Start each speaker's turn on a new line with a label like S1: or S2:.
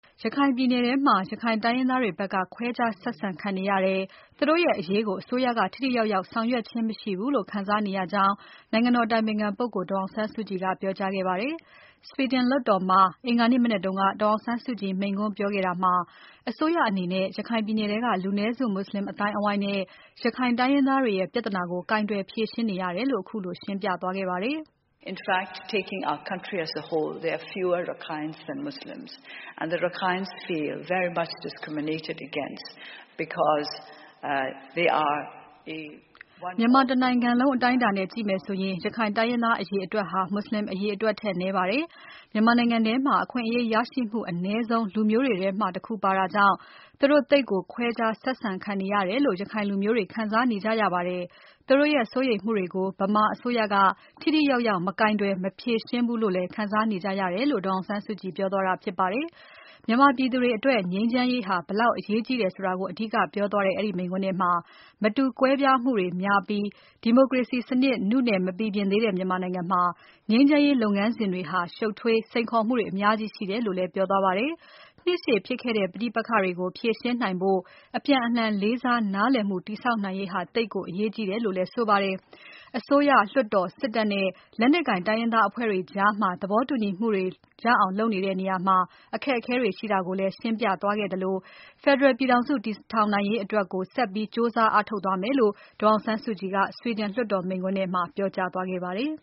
S1: ရခိုင်ပြည်နယ်ထဲက ရခိုင်တိုင်းရင်းသားတွေဘက်က ခွဲခြားဆက်ဆံခံနေရတယ်။ သူတို့ရဲ့ အရေးကို အစိုးရက ထိထိရောက်ရောက် ဆောင်ရွက်ခြင်း မရှိဘူးလို့ ခံစားနေကြရတယ်လို့ နိုင်ငံတော် အတိုင်ပင်ခံပုဂ္ဂိုလ် ဒေါ်အောင်ဆန်းစုကြည်က ပြောကြားခဲ့ပါတယ်။ ဆွီဒင် လွှတ်တော်မှာ အင်္ဂါနေ့မနက်က ဒေါ်အောင်ဆန်းစုကြည် မိန့်ခွန်းပြောကြားခဲ့တာမှာ အစိုးရအနေနဲ့ ရခိုင်ပြည်နယ်ထဲက လူနည်းစု မွတ်ဆလင် အသိုင်းအဝိုင်းနဲ့ ရခိုင်တိုင်းရင်းသားတွေရဲ့ ပြဿနာကို ကိုင်တွယ်ဖြေရှင်း နေရတယ်လို့ ခုလို ရှင်းပြ သွားခဲ့ပါတယ်။ မြန်မာတနိုင်ငံလုံး အတိုင်းအတာနဲ့ ကြည့်မယ်ဆိုရင် ရခိုင်တိုင်းရင်းသား အရေအတွက်ဟာ မွတ်ဆလင် အရေအတွက်ထက် နည်းပါတယ်။ မြန်မာနိုင်ငံထဲမှာ အခွင့်အရေးရရှိမှု အနည်းဆုံး လူမျိုးတွေထဲမှာ ပါတာကြောင့် သူတို့သိပ်ကို ခွဲခြားဆက်ဆံ ခံနေရတယ်လို့ ရခိုင်လူမျိုးတွေ ခံစားနေကြရပါတယ်။ သူတို့ရဲ့ စိုးရိမ်မှုတွေကို ဗမာအစိုးရက ထိထိရောက်ရောက် မကိုင်တွယ် မဖြေရှင်းဘူး လို့လည်း ခံစားနေကြရတယ်လို့ ဒေါ်အောင်ဆန်းစုကြည် ပြောသွားတာဖြစ်ပါတယ်။ မြန်မာပြည်သူတွေ အတွက် ငြိမ်းချမ်းရေးဟာ ဘယ်လောက် အရေးကြီးတယ်ဆိုတာကို အဓိကပြောသွားတဲ့ ဒီမိန့်ခွန်းထဲမှာ မတူကွဲပြားမှုတွေ များပြီး၊ ဒီမိုကရေစီစနစ် နုနယ် မပီပြင်သေးတဲ့ မြန်မာနိုင်ငံမှာ ငြိမ်းချမ်းရေး လုပ်ငန်းစဉ်တွေဟာ ရှုပ်ထွေးပြီး စိန်ခေါ်မှုတွေ အများကြီးရှိတယ်လို့လည်း ပြောသွားပါတယ်။ နှစ်ရှည်ဖြစ်ခဲ့တဲ့ ပဋိပက္ခတွေကို ဖြေရှင်းနိုင်ဖို့ အပြန်အလှန် လေးစား နားလည်မှု တည်ဆောက်နိုင်ရေးဟာ သိပ်ကို အရေးကြီးတယ် လို့လည်း ဆိုပါတယ်။ အစိုးရ၊ လွှတ်တော်၊ စစ်တပ်နဲ့ လက်နက်ကိုင် တိုင်းရင်းသား အဖွဲ့တွေကြားမှာ သဘောတူညီမှုတွေ ရအောင်လုပ်တဲ့နေရာမှာ အခက်အခဲတွေ ရှိတာကိုလည်း ရှင်းပြသွားခဲ့ပြီး ဖက်ဒရယ် ပြည်ထောင်စု တည်ထောင်နိုင်ရေးအတွက်ဆက်ပြီး ကြိုးစားအားထုတ်သွားမယ်လို့ ဒေါ်အောင်ဆန်းစုကြည်က ဆွီဒင် လွှတ်တော်မိန့်ခွန်းထဲမှာ ပြောကြားသွားခဲ့ပါတယ်။